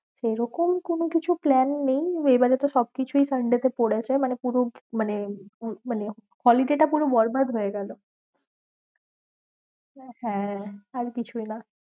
সেরকম কোনো কিছু plan নেই, এবারে তো সব কিছুই তো sunday তেই পড়েছে মানে পুরো মানে মানে holiday টা পুরো বরবাদ হয়েগেলো হ্যাঁ আর কিছুই না